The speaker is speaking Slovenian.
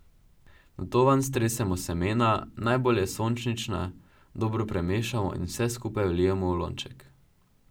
Nato vanj stresemo semena, najbolje sončnična, dobro premešamo in vse skupaj vlijemo v lonček.